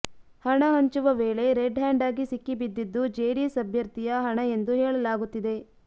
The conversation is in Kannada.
ಹಣ ಹಂಚುವ ವೇಳೆ ರೆಡ್ ಹ್ಯಾಂಡ್ ಆಗಿ ಸಿಕ್ಕಿಬಿದ್ದಿದ್ದು ಜೆಡಿಎಸ್ ಅಭ್ಯರ್ಥಿಯ ಹಣ ಎಂದು ಹೇಳಲಾಗುತ್ತಿದೆ